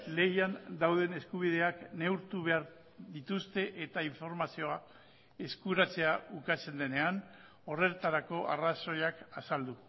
lehian dauden eskubideak neurtu behar dituzte eta informazioa eskuratzea ukatzen denean horretarako arrazoiak azaldu